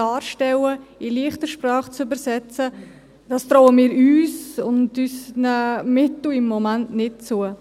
Dies in «leichte Sprache» zu übersetzen, trauen wir uns und unseren Mitteln im Moment nicht zu.